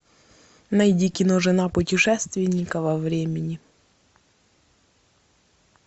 найди кино жена путешественника во времени